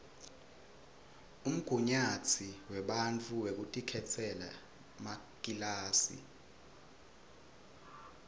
umgunyatsi webafundzi wekutikhetsela makilasi